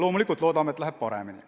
Loomulikult loodame, et läheb paremini.